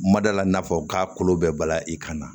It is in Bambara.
Madala n'a fɔ k'a kolo bɛɛ bala i kan na